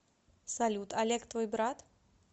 салют олег твой брат